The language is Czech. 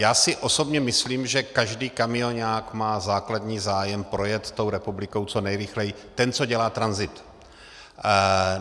Já si osobně myslím, že každý kamioňák má základní zájem projet tou republikou co nejrychleji, ten, co dělá tranzit.